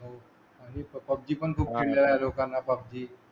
आणि पफजी पण खूप खेळलेला आहे लोकांना पाफजी